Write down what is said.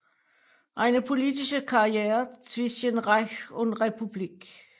Eine politische Karriere zwischen Reich und Republik